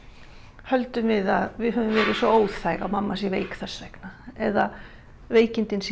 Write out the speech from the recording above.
höldum við að við höfum verið svo óþæg að mamma sé veik þess vegna eða veikindin séu